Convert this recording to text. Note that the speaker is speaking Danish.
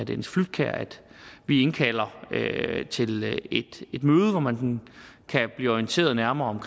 dennis flydtkjær at vi indkalder til et møde hvor man kan blive orienteret nærmere om